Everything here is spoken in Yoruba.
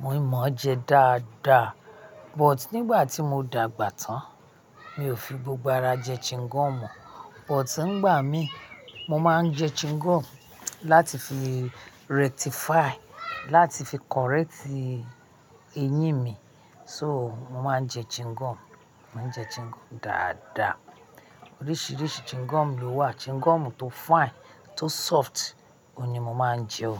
Mo ì mọ́ ọ́ jẹ dáadáa but nígbà tí mo dàgbà tán mi ò fi gbogbo ara jẹ chewing gum mọ̀ọ́ But nígbà mí, mo máa ń jẹ chewing gum láti fi rectify, láti fi correct eyín mi. So, mo máa ń jẹ chewing gum, mo ń jẹ chewing gum dáadáa. Oríṣìíríṣìí chewing gum ló wà. Chewing gum tó fine, tó soft, òhun ni mo máa ń jẹ o.